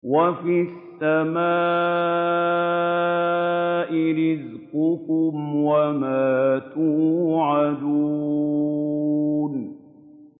وَفِي السَّمَاءِ رِزْقُكُمْ وَمَا تُوعَدُونَ